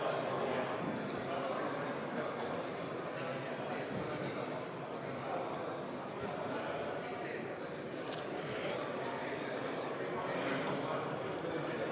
Kohalolijaks registreeris ennast 74 Riigikogu liiget, puudub 27 Riigikogu liiget.